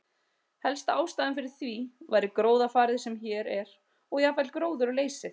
Helsta ástæðan fyrir því væri gróðurfarið sem hér er og jafnvel gróðurleysið.